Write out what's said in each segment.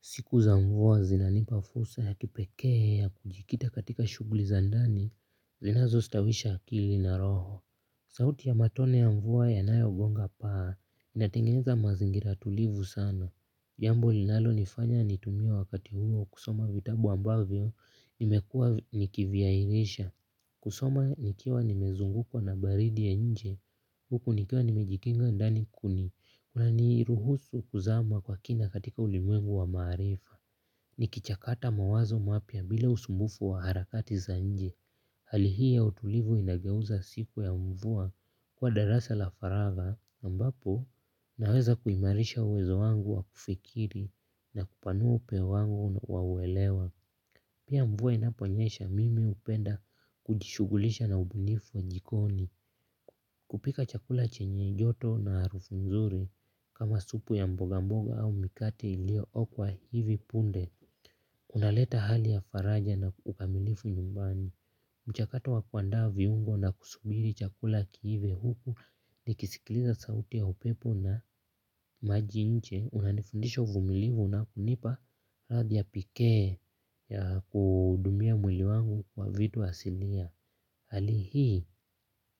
Siku za mvua zinanipa fursa ya kipekee ya kujikita katika shughuli za ndani, zinazostawisha akili na roho. Sauti ya matone ya mvua yanayogonga paa, inatengeza mazingira tulivu sana. Jambo linalonifanya nitumie wakati huo kusoma vitabu ambavyo nimekuwa nikivihairisha. Kusoma nikiwa nimezungukwa na baridi ya nje, huku nikiwa nimejikinga ndani kuni. Kuna niruhusu kuzama kwa kina katika ulimwengu wa maarifa. Nikichakata mawazo mapya bila usumbufu wa harakati za nje. Hali hii ya utulivu inageuza siku ya mvua kuwa darasa la faraga ambapo naweza kuimarisha uwezo wangu wa kufikiri na kupanua upeo wangu wa uwelewa. Pia mvua inaponyesha mimi hupenda kujishughulisha na ubunifu wa jikoni. Kupika chakula chenye joto na harufu nzuri kama supu ya mboga mboga au mikate iliyookwa hivi punde. Unaleta hali ya faraja na ukamilifu nyumbani. Mchakato wa kuandaa viungo na kusubiri chakula kiive huku nikisikiliza sauti ya upepo na maji nje. Unanifundisha uvumilivu na kunipa radhi ya pekee ya kuhudumia mwili wangu kwa vitu asilia. Hali hii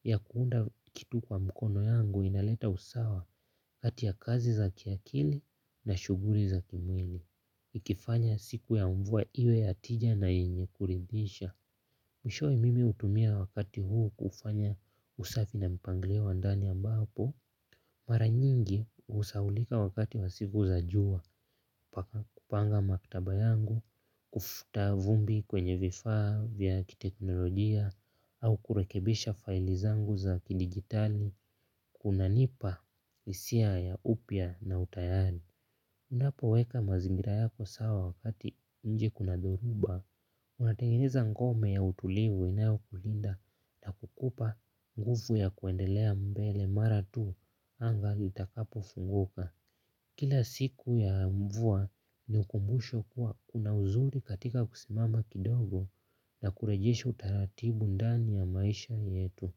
ya kuunda kitu kwa mkono yangu inaleta usawa kati ya kazi za kiakili na shughuli za kimwili. Ikifanya siku ya mvua iwe ya tija na yenye kuridisha. Mwishowe mimi hutumia wakati huu kufanya usafi na mpanglio wa ndani ambapo mara nyingi husahaulika wakati wa siku za jua kupanga maktaba yangu. Kufuta vumbi kwenye vifaa vya kiteknolojia au kurekebisha faili zangu za kidigitali. Kunanipa hisia ya upya na utayari. Unapoweka mazingira yako sawa wakati nje kuna doruba. Unatengeneza ngome ya utulivu inayokulinda na kukupa nguvu ya kuendelea mbele mara tu anga litakapofunguka. Kila siku ya mvua ni ukumbusho kuwa kuna uzuri katika kusimama kidogo na kurejesha utaratibu ndani ya maisha yetu.